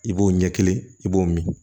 I b'o ɲɛ kelen i b'o min